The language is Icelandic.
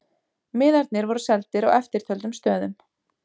Miðarnir voru seldir á eftirtöldum stöðum